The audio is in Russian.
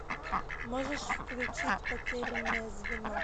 можешь включить потерянное звено